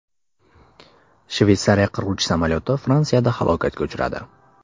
Shveysariya qiruvchi samolyoti Fransiyada halokatga uchradi.